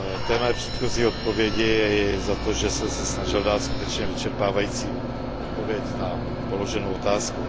mé předchozí odpovědi i za to, že jsem se snažil dát skutečně vyčerpávající odpověď na položenou otázku.